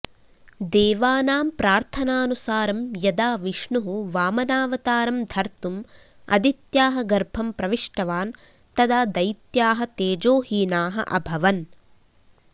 देवानां प्रार्थनानुसारं यदा विष्णुः वामनावतारं धर्तुम् अदित्याः गर्भं प्रविष्टवान् तदा दैत्याः तेजोहीनाः अभवन्